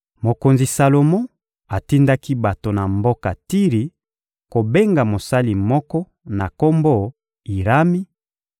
Mokonzi Salomo atindaki bato na mboka Tiri kobenga mosali moko na kombo Irami